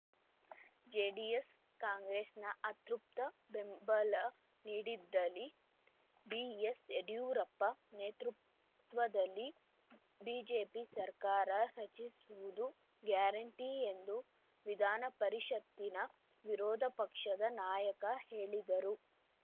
JDS ಕಾಂಗ್ರೆಸ್‌ನ ಅತೃಪ್ತ ಬೆಂಬಲ ನೀಡಿದಲ್ಲಿ ಬಿಎಸ್‌ಯಡಿಯೂರಪ್ಪ ನೇತೃತ್ವದಲ್ಲಿ ಬಿಜೆಪಿ ಸರ್ಕಾರ ರಚಿಸುವುದು ಗ್ಯಾರಂಟಿ ಎಂದು ವಿಧಾನಪರಿಷತ್ತಿನ ವಿರೋಧ ಪಕ್ಷದ ನಾಯಕ ಹೇಳಿದರು